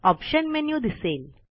option menu दिसेल